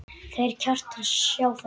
Þeir Kjartan sjá þetta.